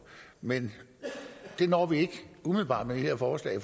men det når vi ikke umiddelbart med det her forslag